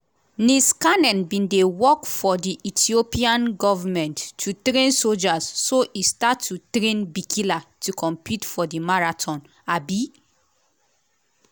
niskanen bin dey work for di ethiopian goment to train sojas so e start to train bikila to compete for di marathon. um